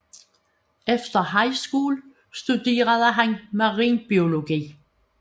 Efter high school studerede han marinbiologi